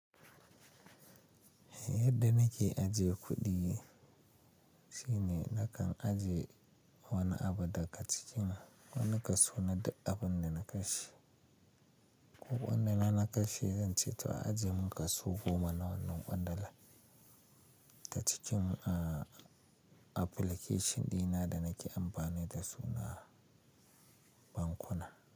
Yadda nake ajiye kuɗi shine nakan ajiye wani abu daga cikin wani kaso na duk abinda na kashe. Ko kwandala na kashe, zan ce to a ajiye min kaso goma na wannan ƙwandala ta cikin, uh, application dina da nake amfani da su na bankuna.